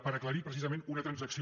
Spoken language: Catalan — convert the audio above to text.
per aclarir precisament una transacció